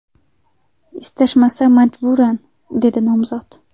Istashmasa majburan”, dedi nomzod.